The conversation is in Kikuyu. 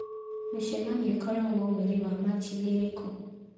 Mĩcemanio ĩkoragwo mweri wa Machi ni ĩrĩkũ